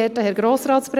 Mit diesem Vorstoss –